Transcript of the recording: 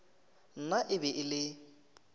nna e be e le